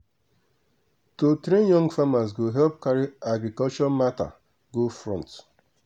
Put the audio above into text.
to train young farmers go help carry agriculture matter go front.